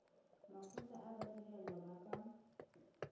makgotla a badirelwa ba ka